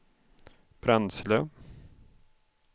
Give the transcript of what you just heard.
bränsle